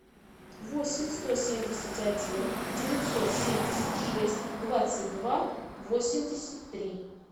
восемь сто семьдесят один девятьсот семьдесят шесть двадцать два восемьдесят три